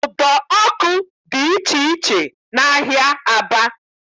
Udo ọkụ dị iche iche n'ahịa Aba